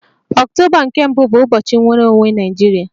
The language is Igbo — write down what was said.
Ọktoba nke mbu bụ ụbọchị nnwere onwe Naịjirịa